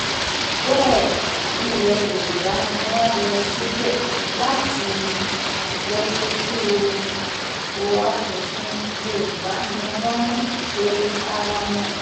bẹ́ẹ̀ ilẹ̀ yorùbá ni wọ́n lọ síbẹ̀ láti um lọ́ọ́ sójú o asòfin yorùbá ni wọ́n ń um pe ara wọn